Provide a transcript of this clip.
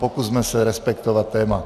Pokusme se respektovat téma.